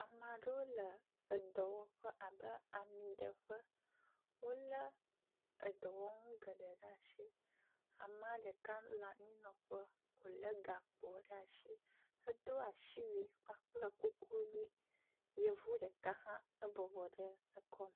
Ame aɖewo le edɔwɔƒe abe amiɖeƒe. Wo le edɔwɔnu geɖe ɖe asi. Amea ɖeka le anyinɔƒe wo le gakpo ɖe asi. Edo asiwui kpakple kuku ʋi. Yevu ɖeka hã ebɔbɔ ɖe ekɔme.